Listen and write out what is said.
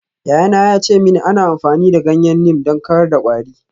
Yayana ya ce mini ana amfani da ganyen neem don kawar da kwari.